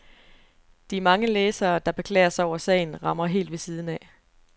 De mange læsere, der beklager sig over sagen, rammer helt ved siden af.